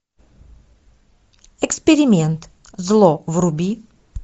эксперимент зло вруби